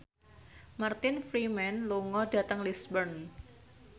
Martin Freeman lunga dhateng Lisburn